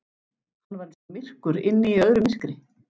Hann var eins og myrkur inni í öðru myrkri.